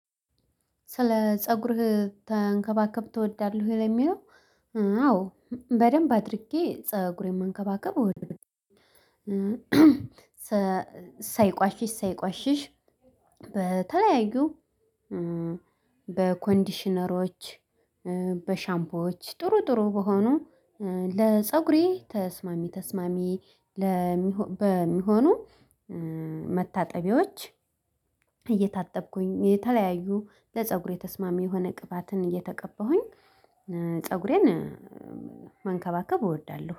ስለ ፀጉርህ ተንከባከብ ትወዳለህ ወይ ለሚለው? አዎ በደንብ አድርጌ ፀጉሬን መንከባከብ እወድብሃለሁ ሳይቆሽሽ ሳይቆሽሽ በተለያዩ በኮንዲሽነሮች በሻምፖዎች ጥሩ ጥሩ በሆኑ ለፀጉሬ ተስማሚ ተስማሚ በሚሆኑ መታጠቢዎች እየታጠብኩኝ የተለያዩ ለፀጉሬ ተስማሚ የሆነ ቅባትን እየተቀበሁኝ ፀጉሬን መንከባከብ እወዳለሁ